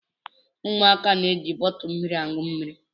Ụmụaka na-eji bọtụlụ mmiri aṅụ mmiri.